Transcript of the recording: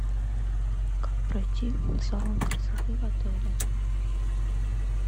как пройти в салон красоты в отеле